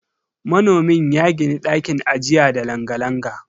Manomin ya gini ɗakin ajiya da langa-langa.